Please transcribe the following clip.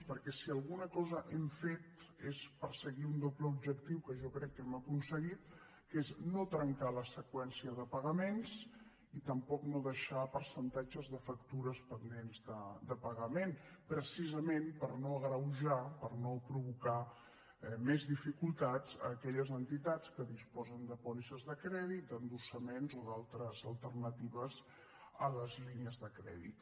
perquè si alguna cosa hem fet és perseguir un doble objectiu que jo crec que hem aconseguit que és no trencar la seqüència de pagaments i tampoc no deixar percentatges de factures pendents de pagament precisament per no agreujar per no provocar més dificultats a aquelles entitats que disposen de pòlisses de crèdit d’endossaments o d’altres alternatives a les línies de crèdit